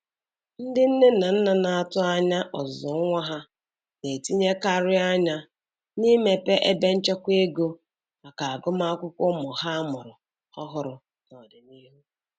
Ndị nne na nna na-atụ anya ọzụzụ nwa ha na-etinyekarịrị anya n'imepe ebe nchekwa ego maka agụmakwụkwọ ụmụ ha amụrụ ọhụrụ n'ọdịnihu.